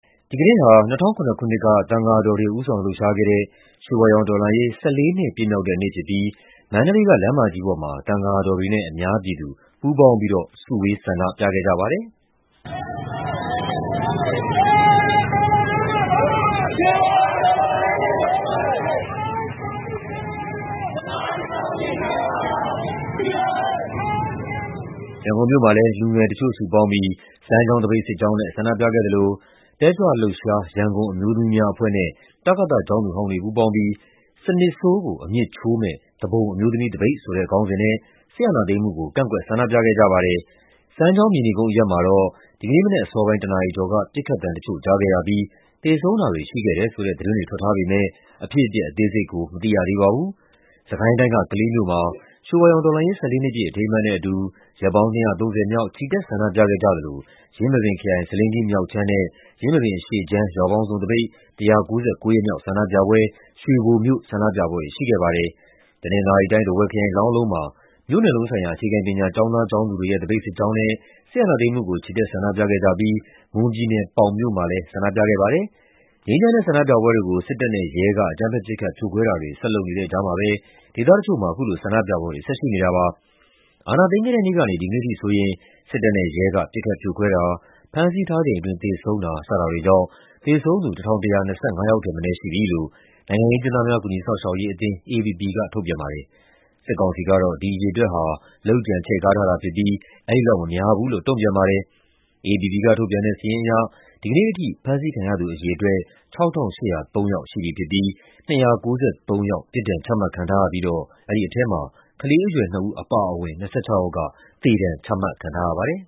ဒီကနေ့ဟာ ၂၀၀၇ ခုနှစ်က သံဃာတော်တွေ ဦးဆောင်လှုပ်ရှားခဲ့တဲ့ ရွှေဝါရောင်တော်လှန်ရေး ၁၄ နှစ် ပြည့်မြောက်တဲ့နေ့ဖြစ်ပြီး မန္တလေးက လမ်းမကြီးပေါ်မှာ သံဃာတော်တွေနဲ့ အများပြည်သူ ပူးပေါင်းပြီး စုဝေး ဆန္ဒပြခဲ့ကြပါတယ်။ ရန်ကုန်မြို့မှာလည်း လူငယ်တချို့ စုပေါင်းပြီး စမ်းချောင်းသပိတ်စစ်ကြောင်းနဲ့ ဆန္ဒပြခဲ့သလို တက်ကြွလှုပ်ရှား ရန်ကုန်အမျိုးသမီးများအဖွဲ့နဲ့ တကသ ကျောင်းသူဟောင်းတွေ ပူးပေါင်းပြီး “စနစ်ဆိုးကို အမြစ်ချိုးမယ့် သူပုန်အမျိုးသမီးသပိတ်” ဆိုတဲ့ခေါင်းစဉ်နဲ့ စစ်အာဏာသိမ်းမှုကို ကန့်ကွက် ဆန္ဒပြခဲ့ကြပါတယ်။ စမ်းချောင်း၊ မြေနီကုန်းအရပ်မှာတော့ ဒီကနေ့မနက်အစောပိုင်း ၁ နာရီကျော်က ပစ်ခတ်သံတချို့ ကြားခဲ့ရပြီး သေဆုံးတာတွေ ရှိခဲ့တယ်ဆိုတဲ့ သတင်းတွေ ထွက်ထားပေမယ့် အဖြစ်အပျက် အသေးစိတ်ကို မသိရသေးပါဘူး။ စစ်ကိုင်းတိုင်းက ကလေးမြို့မှာ ရွှေဝါရောင်တော်လှန်ရေး ၁၄ နှစ်ပြည့် အထိမ်းအမှတ်နဲ့အတူ ရက်ပေါင်း ၂၃၀ မြောက် ချီတက်ဆန္ဒပြခဲ့ကြသလို ယင်းမာပင်ခရိုင်၊ ဆားလင်းကြီးမြောက်ခြမ်းနဲ့ ယင်းမာပင်အရှေ့ခြမ်း ရွာပေါင်းစုံသပိတ် ၁၉၉ ရက်မြောက် ဆန္ဒပြပွဲ၊ ရွှေဘိုမြို့ ဆန္ဒပြပွဲတွေ ရှိခဲ့ပါတယ်။ တနင်္သာရီတိုင်း၊ ထားဝယ်ခရိုင်၊ လောင်းလုံမှာ မြို့နယ်လုံးဆိုင်ရာ အခြေခံပညာ ကျောင်းသားကျောင်းသူတွေရဲ့ သပိတ်စစ်ကြောင်းနဲ့ စစ်အာဏာသိမ်းမှုကို ချီတက်ဆန္ဒပြခဲ့ကြပြီး မွန်ပြည်နယ်၊ ပေါင်မြို့မှာလည်း ဆန္ဒပြခဲ့ပါတယ်။ ငြိမ်းချမ်းတဲ့ ဆန္ဒပြပွဲတွေကို စစ်တပ်နဲ့ ရဲက အကြမ်းဖက် ပစ်ခတ် ဖြိုခွဲတာတွေ ဆက်လုပ်နေတဲ့ကြားမှာပဲ ဒေသတချို့မှာ အခုလို ဆန္ဒပြပွဲတွေ ဆက်ရှိနေတာပါ။ အာဏာသိမ်းခဲ့တဲ့နေ့ကနေ ဒီကနေ့အထိဆိုရင် စစ်တပ်နဲ့ ရဲက ပစ်ခတ်ဖြိုခွဲတာ၊ ဖမ်းဆီးထားချိန်အတွင်း သေဆုံးတာ စတာတွေကြောင့် သေဆုံးသူ ၁,၁၂၅ ယောက်ထက်မနည်း ရှိပြီလို့ နိုင်ငံရေးအကျဉ်းသားများ ကူညီစောင့်ရှောက်ရေးအသင်း (AAPP) က ထုတ်ပြန်ပါတယ်။ စစ်ကောင်စီကတော့ ဒီအရေအတွက်ဟာ လုပ်ကြံချဲ့ကားထားတာဖြစ်ပြီး အဲဒီလောက်မများဘူးလို့ တုံ့ပြန်ထားပါတယ်။ AAPP ကထုတ်ပြန်တဲ့ စာရင်းအရ ဒီနေ့အထိ ဖမ်းဆီးခံရသူ အရေအတွက် ၆,၈၀၃ ယောက်ရှိပြီဖြစ်ပြီး ၂၉၃ ယောက် ပြစ်ဒဏ်ချမှတ်ခံထားရပြီးတော့ အဲဒီထဲမှာ ကလေးအရွယ်နှစ်ဦး အပါအဝင် ၂၆ ယောက်က သေဒဏ် ချမှတ်ခံထားရပါတယ်